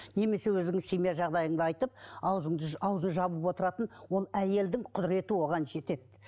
немесе өзің семья жағыдайыңды айтып аузыңды ауызын жауып отыратын ол әйелдің құдыреті оған жетеді